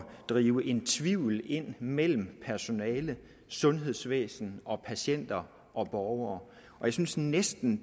drive en tvivl ind mellem personale sundhedsvæsen og patienter og borgere jeg synes næsten